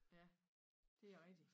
Ja de er rigtigt